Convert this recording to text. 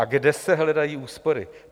A kde se hledají úspory?